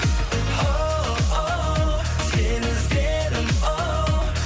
оу сені іздедім оу